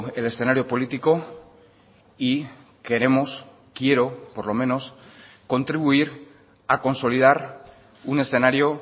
el escenario político y queremos quiero por lo menos contribuir a consolidar un escenario